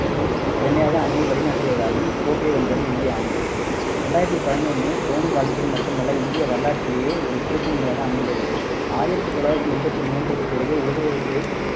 திறமையாக அணியை வழி நடத்தியதாலும் கோப்பையை வென்றது இந்திய அணி. ரெண்டாயிரத்தி பதினொண்ணு தோனி வாழ்க்கையில் மட்டுமல்ல இந்திய வரலாற்றிலேயே ஒரு திருப்புமுனையாக அமைந்தது. ஆயிரத்தி தொள்ளாயிரத்தி எண்பத்து மூன்றுக்கு பிறகு உலக கோப்பை